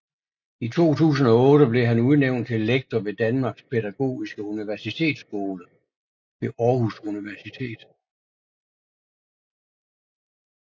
I 2008 blev han udnævnt til lektor ved Danmarks Pædagogiske Universitetsskole ved Aarhus Universitet